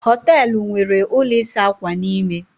Hóteélụ̀ nwere ụlọ ịsa ákwà n'ime